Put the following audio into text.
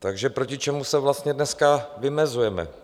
Takže proti čemu se vlastně dneska vymezujeme?